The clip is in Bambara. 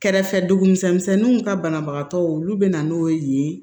Kɛrɛfɛduguw ka banabagatɔw olu bɛ na n'o ye yen